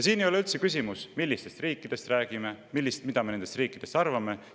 Siin ei ole üldse küsimus selles, millistest riikidest räägime, mida me nendest riikidest arvame.